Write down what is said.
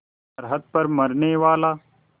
सरहद पर मरनेवाला